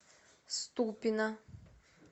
ступино